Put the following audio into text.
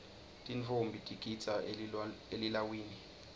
tintfombi tigidza elilawini